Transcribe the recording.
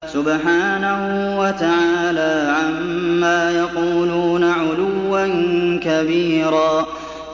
سُبْحَانَهُ وَتَعَالَىٰ عَمَّا يَقُولُونَ عُلُوًّا كَبِيرًا